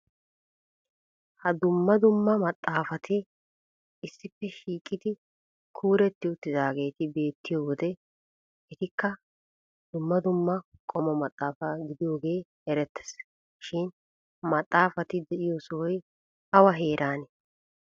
Ha dumma dumma maxaafati issippe shiiqidi kuuretti uttidaageeti beettiyo wode etikka qa dumma dumma qommo maxaafa gidiyogee erettess shin ha maxaafati de'iyo sohoy awa heeraanee?